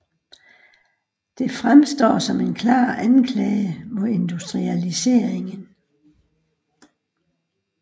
Det fremstår som en klar anklage mod industrialiseringen